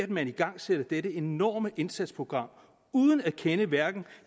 man igangsætter dette enorme indsatsprogram uden at kende til hverken